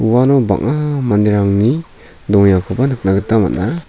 uano bang·a manderangni dongengakoba nikna gita man·a.